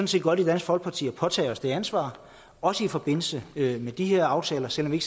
set godt i dansk folkeparti at påtage os det ansvar også i forbindelse med de her aftaler selv om vi